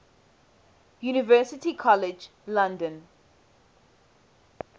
university college london